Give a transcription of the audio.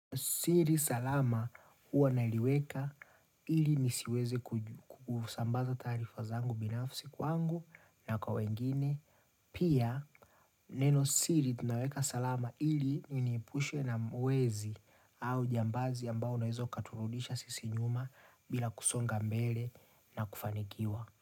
Siri salama huwa naliweka ili nisiweze kusambaza taarifa zangu binafsi kwangu na kwa wengine. Pia neno siri tunaweka salama ili iniepushe na wezi au jambazi ambao nawezo katurudisha sisi nyuma bila kusonga mbele na kufanikiwa.